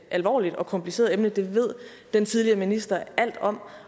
alvorligt og kompliceret emne det ved den tidligere minister alt om